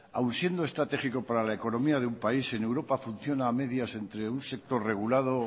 aún siendo estratégico para la economía de un país en europa funciona a medias entre un sector regulado